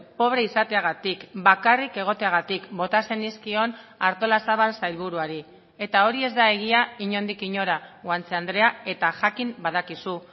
pobre izateagatik bakarrik egoteagatik bota zenizkion artolazabal sailburuari eta hori ez da egia inondik inora guanche andrea eta jakin badakizu